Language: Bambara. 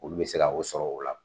Olu be se ka o sɔrɔ o la.